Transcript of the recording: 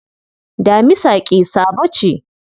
Damisa ƙi-sabo ce.